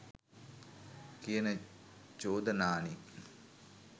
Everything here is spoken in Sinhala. කියන චෝදනානේ.